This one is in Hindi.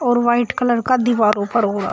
और वाइट कलर का दीवार ऊपर हो रहा--